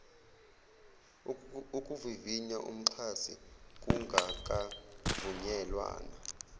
ukuvivinya umxhasi kungakavunyelwana